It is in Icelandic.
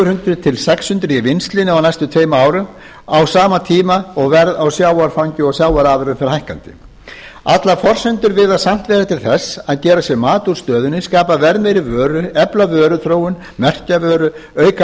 hundruð til sex hundruð í vinnslunni á næstu tveim árum á sama tíma og verð á sjávarfangi og sjávarafurðum fer hækkandi allar forsendur virðast samt leiða til þess að gera sér mat úr stöðunni skapa verðmeiri vöru efla vöruþróun merkja vöru auka